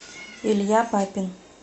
илья папин